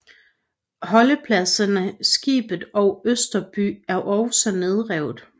Holdepladserne Skibet og Østerby er også nedrevet